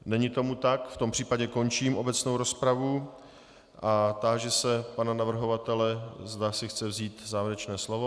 Není tomu tak, v tom případě končím obecnou rozpravu a táži se pana navrhovatele, zda si chce vzít závěrečné slovo.